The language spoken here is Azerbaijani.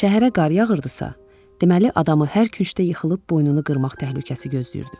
Şəhərə qar yağırdısa, deməli adamı hər küncdə yıxılıb boynunu qırmaq təhlükəsi gözləyirdi.